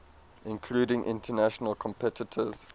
including international competitors